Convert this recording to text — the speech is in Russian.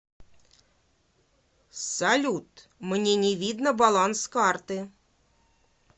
салют мне не видно баланс карты